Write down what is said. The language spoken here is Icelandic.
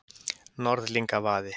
Norðlingavaði